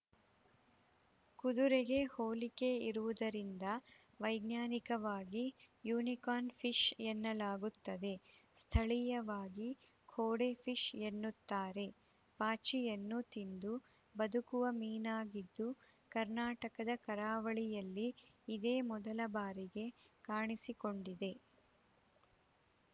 ಕುದುರೆಗೆ ಹೋಲಿಕೆ ಇರುವುದರಿಂದ ವೈಜ್ಞಾನಿಕವಾಗಿ ಯುನಿಕಾರ್ನ್‌ ಫಿಶ್‌ ಎನ್ನಲಾಗುತ್ತದೆ ಸ್ಥಳೀಯವಾಗಿ ಘೋಡೆ ಫಿಶ್‌ ಎನ್ನುತ್ತಾರೆ ಪಾಚಿಯನ್ನು ತಿಂದು ಬದುಕುವ ಮೀನಾಗಿದ್ದು ಕರ್ನಾಟಕದ ಕರಾವಳಿಯಲ್ಲಿ ಇದೇ ಮೊದಲ ಬಾರಿಗೆ ಕಾಣಿಸಿಕೊಂಡಿದೆ